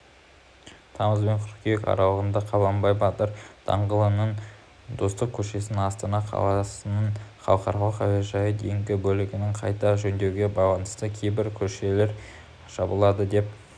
тамызбен қыркүйек аралығында қабанбай батыр даңғылының достық көшесінен астана қаласының халықаралық әуежайына дейінгі бөлігін қайта жөндеуге байланысты кейбір көшелер жабылады деп